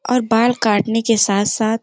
और बाल काटने के साथ-साथ --